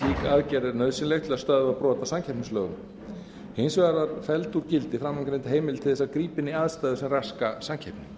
aðgerð er nauðsynleg til að stöðva brot á samkeppnislögum hins vegar var felld úr gildi framangreind heimild til að grípa inn í aðstæður sem raska samkeppni